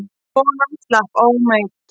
Konan slapp ómeidd.